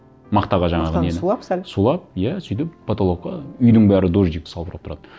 мақтаға жаңағы нені мақтаны сулап сәл сулап иә сөйтіп потолокқа үйдің бәрі дождик салбырап тұратын